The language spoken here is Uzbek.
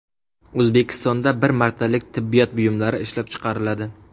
O‘zbekistonda bir martalik tibbiyot buyumlari ishlab chiqariladi.